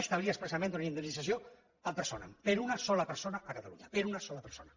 establia expressament una indemnització ad personamper a una sola persona a catalunya per a una sola persona